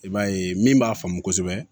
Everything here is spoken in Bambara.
I b'a ye min b'a faamu kosɛbɛ